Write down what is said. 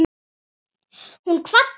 Hún kvaddi mig ekki.